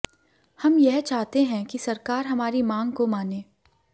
हम यह चाहते हैं कि सरकार हमारेी मांग को मागे